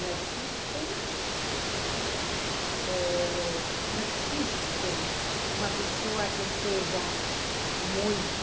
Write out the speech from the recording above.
Não existe eh... Não existe uma pessoa que seja muito...